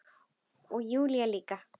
Og Júlía líka.